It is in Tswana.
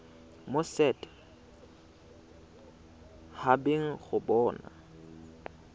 mo set habeng go bona